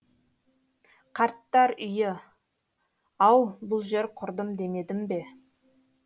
қарттар үйі ау бұл жер құрдым демедім бе